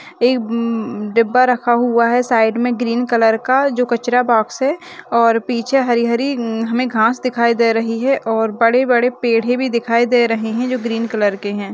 एक डिब्बा रखा हुआ है साइड में ग्रीन कलर का जो कचरा बॉक्स है और पीछे हरी-हरी हमे घास दिखाई दे रही है और बड़े-बड़े पेड़े भी दिखाई दे रहे हैं जो ग्रीन कलर के हैं।